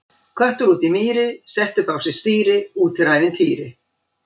Köttur úti í mýri, setti upp á sig stýri, úti er ævintýri!